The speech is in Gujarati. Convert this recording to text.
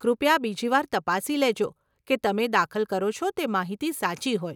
કૃપયા બીજી વાર તપાસી લેજો કે તમે દાખલ કરો છો તે માહિતી સાચી હોય.